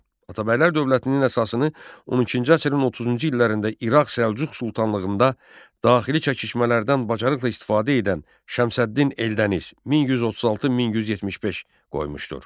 Atabəylər dövlətinin əsasını 12-ci əsrin 30-cu illərində İraq səlcuq sultanlığında daxili çəkişmələrdən bacarıqla istifadə edən Şəmsəddin Eldəniz 1136-1175 qoymuşdur.